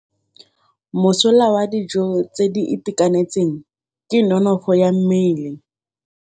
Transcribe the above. Mosola wa dijô tse di itekanetseng ke nonôfô ya mmele.